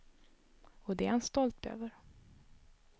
Och det är han stolt över.